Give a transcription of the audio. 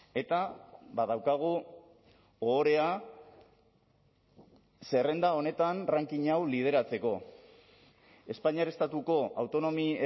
eta badaukagu ohorea zerrenda honetan ranking hau lideratzeko espainiar estatuko autonomi